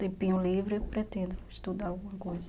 Tempinho livre eu pretendo estudar alguma coisa.